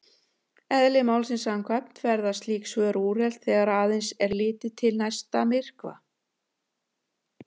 Eðli málsins samkvæmt verða slík svör úrelt þegar aðeins er litið til næsta myrkva.